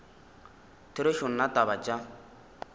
therešo nna taba tše tša